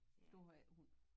Du har ikke hund